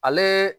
Ale